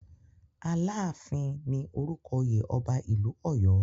"Aláàfin" ni orúkọ oyè ọba ìlú Ọ̀yọ́.